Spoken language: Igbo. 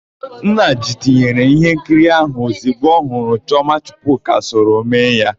Nnedị tinyere íhénkiri áhụ̀ ozigbo ọ hụrụ na Chiọma Chukwuka soro mee ya.